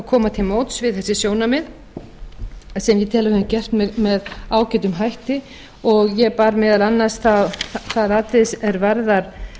koma til móts við þessi sjónarmið sem ég tel að við höfum gert með ágætum hætti og ég bar meðal annars það atriði er varðar